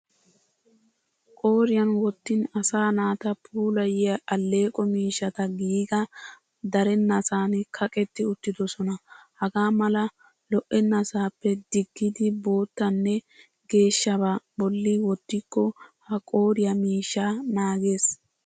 Qooriyan wottin asa naata puulayiya alleeqo miishshata giigaa darennasan kaqetti uttidosona. Hagaa mala lo'ennasaappe diggidi boottanne geeshshabaa bolli wottikko ha qooriya miishshaa naagees.